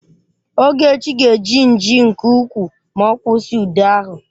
Ogechi ga-eji nji nke ukwuu ma ọ kwụsị ude ahụ